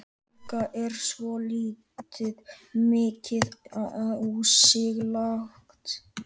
Helga: Er ekki svolítið mikið á sig lagt?